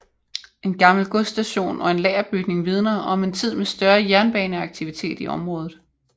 En gammel godsstation og en lagerbygning vidner om en tid med større jernbaneaktivitet i området